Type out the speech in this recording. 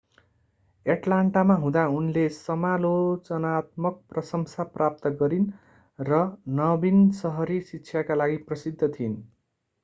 एटलान्टामा हुँदा उनले समालोचनात्मक प्रशंसा प्राप्त गरिन र नवीन सहरी शिक्षाका लागि प्रसिद्ध थिइन्